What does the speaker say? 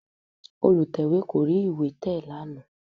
Olùtẹ̀wé kò rí ìwé tẹ̀ lánàá